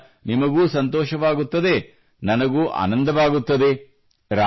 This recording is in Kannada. ಇದರಿಂದ ನಿಮಗೂ ಸಂತೋಷವಾಗುತ್ತದೆ ನನಗೂ ಆನಂದವಾಗುತ್ತದೆ